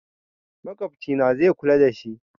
Makwabcina zai kula dashi